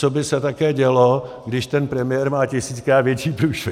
Co by se také dělo, když ten premiér má tisíckrát větší průšvih!